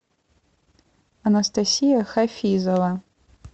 анастасия хафизова